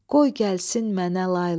qoy gəlsin mənə layla.